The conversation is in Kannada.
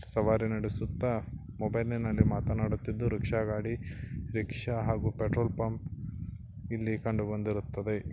ಸವಾರಿ ನಡಿಸುತ್ತ ಮೊಬೈಲ್ ನಲ್ಲಿ ಮತಾನಾಡುತ್ತಿದ ರೂಕ್ಷ ಗಾಡಿ ರಿಕ್ಷಾ ಹಾಗು ಪೆಟ್ರೋಲ್ ಪಂಪ್ ಇಲ್ಲಿ ಕಂಡು ಬಂದಿರುತ್ತದೆ.